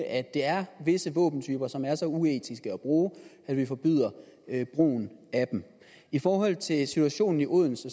at der er visse våbentyper som er så uetiske at bruge at vi forbyder brugen af dem i forhold til situationen i odense